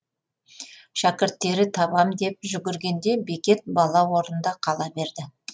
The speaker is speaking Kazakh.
шәкірттері табам деп жүгіргенде бекет бала орнында қала берді